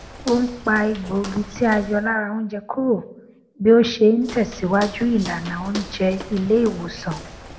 ó n pa egbògi tí a yọ lára oúnjẹ kúrò bí ó ṣe n tẹsìwájú ìlànà oùnjẹ ilé ìwòsàn